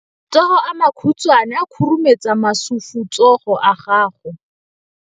Matsogo a makhutshwane a khurumetsa masufutsogo a gago.